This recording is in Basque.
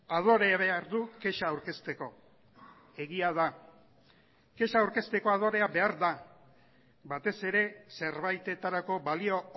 adore behar du kexa aurkezteko egia da kexa aurkezteko adorea behar da batez ere zerbaitetarako balio